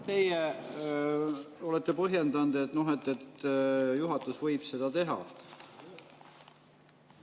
Teie olete põhjendanud, et juhatus võib seda teha.